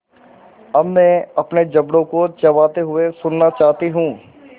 अब मैं अपने जबड़ों को चबाते हुए सुनना चाहती हूँ